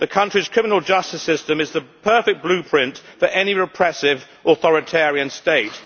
The country's criminal justice system is the perfect blueprint for any repressive authoritarian state.